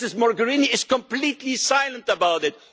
Ms Mogherini is completely silent about